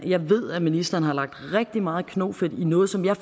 jeg ved at ministeren har lagt rigtig meget knofedt i noget som jeg